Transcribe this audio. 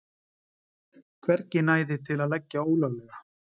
Hvergi næði til að leggja ólöglega